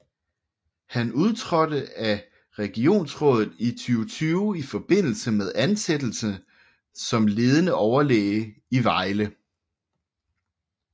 Han udtrådte af regionsrådet i 2020 i forbindelse med ansættelsen som ledende overlæge i Vejle